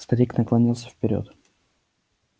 старик наклонился вперёд